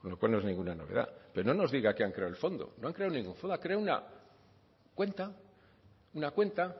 con lo cual no es ninguna novedad pero no nos diga que han creado el fondo no han creado ningún fondo ha creado una cuenta una cuenta